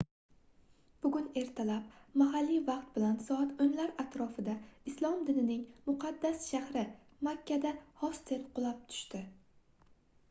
bugun ertalab mahalliy vaqt bilan soat 10 lar atrofida islom dinining muqaddas shahri makkada hostel qulab tushdi